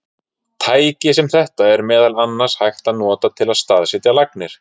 Tæki sem þetta er meðal annars hægt að nota til að staðsetja lagnir.